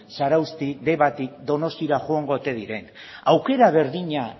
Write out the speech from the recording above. zarautzetik debatik donostiara joango ote diren aukera berdina